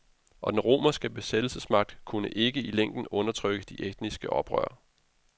Og den romerske besættelsesmagt kunne ikke i længden undertrykke de etniske oprør.